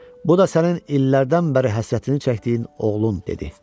Bu da sənin illərdən bəri həsrətini çəkdiyin oğlun, dedi.